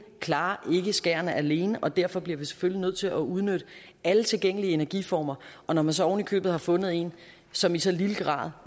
klarer ikke skærene alene og derfor bliver vi selvfølgelig nødt til at udnytte alle tilgængelige energiformer og når man så oven i købet har fundet en som i så lille grad